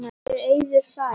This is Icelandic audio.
Mér er eiður sær.